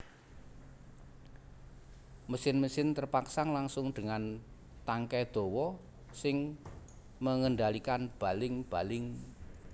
Mesin mesin terpasang langsung dengan tangkai dawa sing mengendalikan baling baling